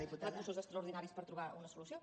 recursos extraordinaris per trobar una solució